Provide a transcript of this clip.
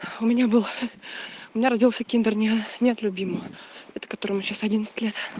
у меня был у меня родился киндер не нет любимого от которого сейчас одиннадцать лет